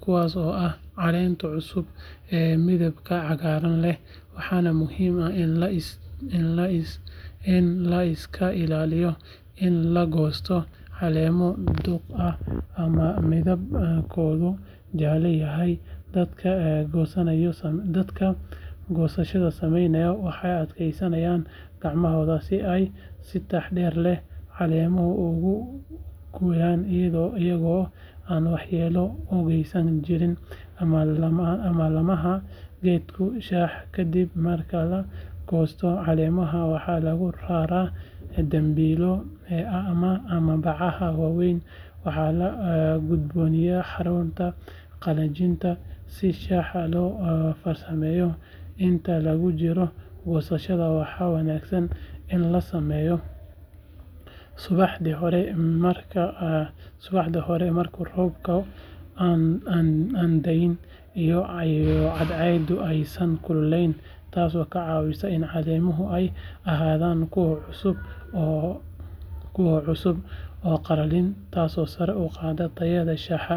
kuwaas oo ah caleenta cusub ee midabka cagaaran leh waxaana muhiim ah in la iska ilaaliyo in la goosto caleemo duq ah ama midabkoodu jaalle yahay dadka goosashada sameeya waxay adeegsadaan gacmahooda si ay si taxaddar leh caleemaha ugu gooyaan iyagoo aan waxyeello u geysan jirida ama laamaha geedka shaaha ka dib marka la goosto caleemaha waxaa lagu raraa dambiilo ama bacaha waaweyn waxaana loo gudbiyaa xarunta qalajinta si shaaha loo farsameeyo inta lagu jiro goosashada waxaa wanaagsan in la sameeyo subaxdii hore marka roobku aanu da’in iyo cadceedu aysan kululayn taasoo ka caawisa in caleemaha ay ahaadaan kuwo cusub oo aan qallalin taasoo sare u qaadaysa tayada shaaha.